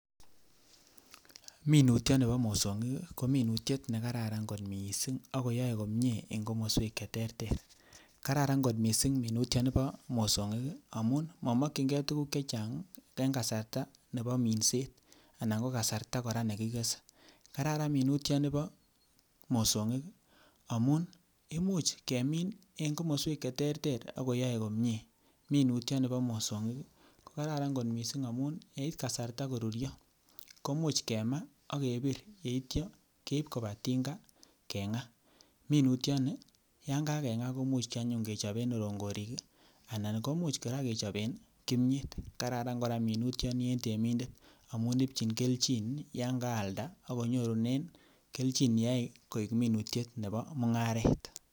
Minutyoni boo mosong'ik kominutyet nekararan kot mising akoyoe komnyee en komoswek cheterter, kararan kot mising minutioni nibo mosong'ik amuun momokying'e tukuk chechang en kasarta neboo minset anan ko kasarta kora nekitesen, kararan minutyoni niboo mosong'ik amuun imuuch kemiin en komoswek cheterter akoyoe komnyee, minutyoni boo mosong'ik kokararan kot mising amun en kasarta koruryo komuch kemaa ak kebir yeityo keiib kobaa tinga keng'aa, minutyoni yaan kakeng'aa kimuch anyun kechoben kong'orik anan komuch kora kechoben kimnyeet, kararan kora minutyoni en temindet amuun ibchin kelchin yaan kaalda akonyorunen kelchin yeyai koik minutiet neboo mung'aret.